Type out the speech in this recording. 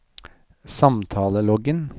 samtaleloggen